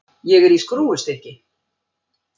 Ég er í skrúfstykki.